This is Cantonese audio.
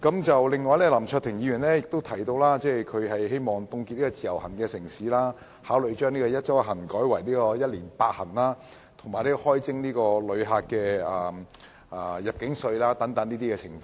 此外，林卓廷議員提及，他希望當局凍結"自由行"城市數目，考慮將"一周一行"改為"一年八行"，以及開徵旅客入境稅等。